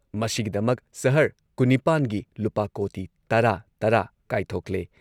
ꯃꯁꯤꯒꯤꯗꯃꯛ ꯁꯍꯔ ꯀꯨꯟꯅꯤꯄꯥꯒꯤ ꯂꯨꯄꯥ ꯀꯣꯇꯤ ꯇꯔꯥ ꯇꯔꯥ ꯀꯥꯏꯊꯣꯛꯂꯦ꯫